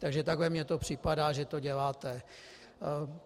Takže takhle mi to připadá, že to děláte.